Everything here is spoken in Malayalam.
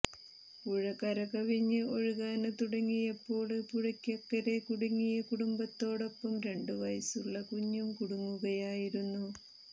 പുഴ കര കവിഞ്ഞ് ഒഴുകാന് തുടങ്ങിയപ്പോള് പുഴയ്ക്കക്കരെ കുടുങ്ങിയ കുടുംബത്തോടൊപ്പം രണ്ട് വയസ്സുള്ള കുഞ്ഞും കുടുങ്ങുകയായിരുന്നു